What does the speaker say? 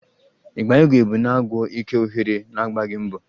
ịgba igwe bụ na-agwụ ike oghere na-agbaghi mbọ